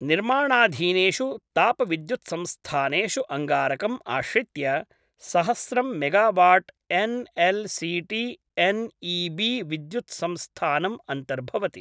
निर्माणाधीनेषु तापविद्युत्संस्थानेषु अङ्गारकम् आश्रित्य सहस्रं megawatt N L C T N E B विद्युत्संस्थानम् अन्तर्भवति।